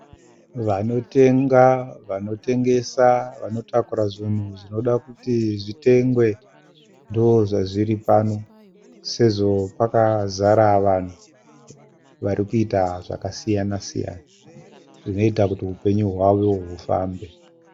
Vanotenga, vanotengesa, vanotakura zvinhu zvinoda kuti zvitengwe. Ndozvazviri pano, sezvo pakazara vanhu varikuita zvakasiyana siyana, zvinoita kuti hupenyu hwavo hufambe.